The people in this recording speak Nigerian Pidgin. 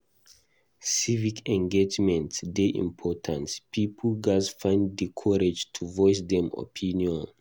Civic engagement dey important; pipo gatz find di courage to voice dem opinion.